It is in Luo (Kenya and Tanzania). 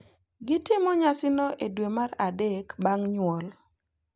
Gitimo nyasino e dwe mar adek bang’ nyuol.